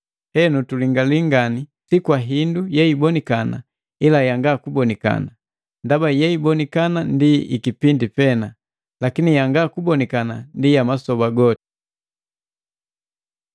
Henu tulingali ngani si kwa hindu yeibonikana, ila yanga kubonikana. Ndaba yeibonikana ndi ikipindi pena, lakini yanga kubonikana ndi ya masoba goti.